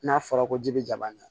N'a fɔra ko ji be jaba ye